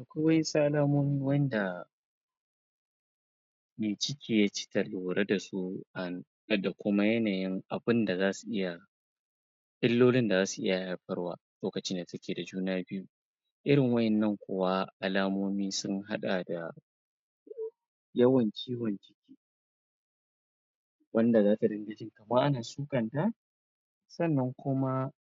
Akwai wa'insu alamomi wanda me ciki da kuma yanayin abunda za su iya ilolin da zasu iya haifarwa lokacin da take da juna biyu irin wa'innan kuwa alamomi sun haɗa da yawan ciwon ciki wanda zata dinga ji kamar ana sukanta sannan kuma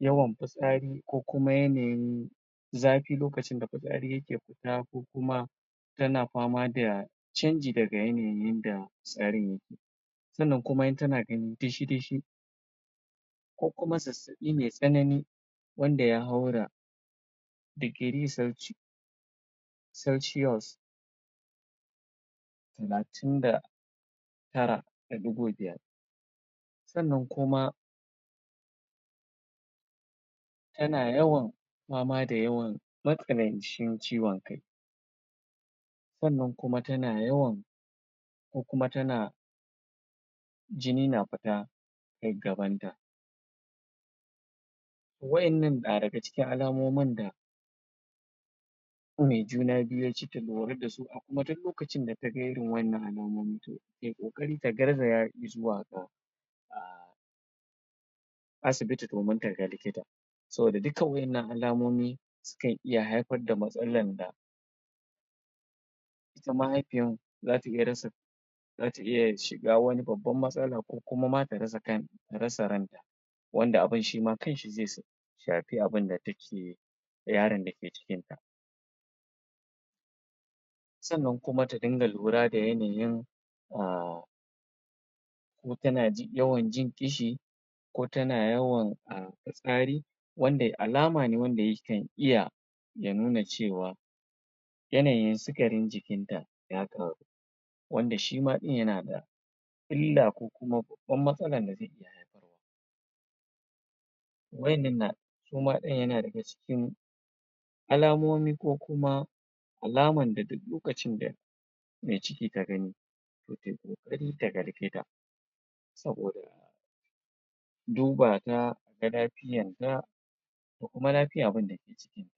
yawan fitsari ko kuma yanayin zafi lokacin da fitsari yake fita ko kuma tana fama da canji daga yanayin yanda tsarin yake sannan kuma in tana ganin dishi dishi ko kuma zazzaɓi mai tsanani wanda ya haura degree Celsius celsius talatin da tara da ɗugo biyar sannan kuma tana yawan fama da yawan matsanancin ciwon kai sannan kuma tana yawan ko kuma tana jini na fita ta gabanta wa'innnan na daga cikin alamomin da me juna biyu ke lura da su da su kuma duk lokacin da kaga wa'innan alamomin to tayi kokari ta garzaya izuwa asibiti domin taga likita saboda duka wa'innan alamomi sukan haifar da matsalan da ita mahaifiyan zata rasa zata iya shiga wani babban matsala ko kuma ma ta rasa kan ta rasa ranta wanda abun Shima kanshi ze um shafi abunda take yaron da ke cikinta sannan kuma ta dinga lura da yanayin um in tana yawan jin ƙishi ko tana yawan fitsari wanda alama ne wanda ya kan iya ya nuna cewa yanayin sukarin jikinta ya ƙaru wanda Shima ɗin yana da illa ko kuma babban matsalan da zai iya haifarwa wa'innan na suma ɗin suna daga cikin alamomi ko kuma alaman da duk lokacin da mai ciki ta gani to tayi ƙoƙari taga likita saboda ya duba ta a ga lafiyanta da kuma lafiyan abunda ke cikinta.